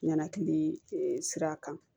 Ɲanakili sira kan